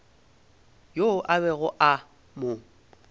yoo a bego a mo